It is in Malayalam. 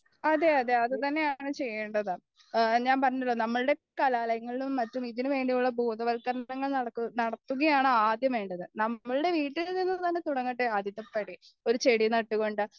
അതെ അതെ അതുതന്നെയാണ് ചെയേണ്ടത് ഞാൻ പറഞ്ഞല്ലോ നമ്മളുടെ കലാലയങ്ങളിലും മറ്റും ഇതിനുവേണ്ടിയുള്ള ബോധവൽക്കരണങ്ങൾ നടത്തി നടത്തുകയാണ് ആദ്യം വേണ്ടത് നമ്മളുടെ വീട്ടിൽ നിന്നും തന്നെ തുടങ്ങട്ടെ ആദ്യത്തെ ശ്രമം ഒരു ചെടി നട്ടുകൊണ്ട്